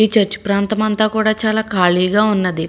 ఈ చర్చ ప్రాంతమంతా చాలా ఖాళీగా ఉన్నది.